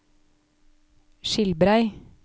Skilbrei